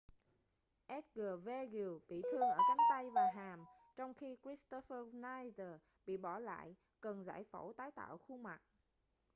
edgar veguilla bị thương ở cánh tay và hàm trong khi kristoffer schneider bị bỏ lại cần giải phẫu tái tạo khuôn mặt